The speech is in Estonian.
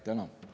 Tänan!